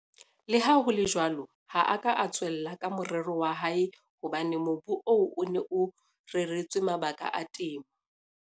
Leha ho le jwalo, ha a ka a tswella ka morero wa hae hobane mobu oo o ne o reretswe mabaka a temo.